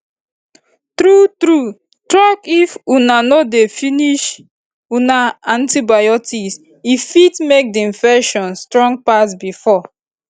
true true talkif una no dey finish una antibiotics e fit make the infection strong pass before